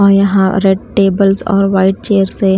और यहाँ red tables और वाइट चेयर्स हैं।